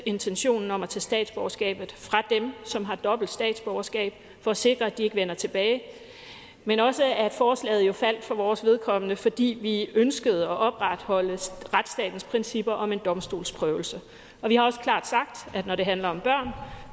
intentionen om at tage statsborgerskabet fra dem som har dobbelt statsborgerskab for at sikre at de ikke vender tilbage men også at forslaget jo for vores vedkommende faldt fordi vi ønskede at opretholde retsstatens principper om en domstolsprøvelse vi har også klart sagt at når det handler om børn